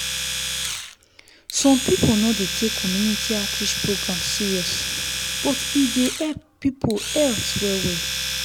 some people no dey take community outreach program serious but e dey help people health well well.